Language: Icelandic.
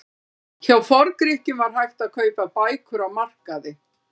Hjá Forngrikkjum var hægt að kaupa bækur á markaði.